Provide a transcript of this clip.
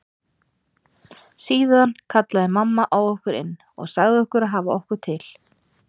Síðan kallaði mamma á okkur inn og sagði okkur að hafa okkur til.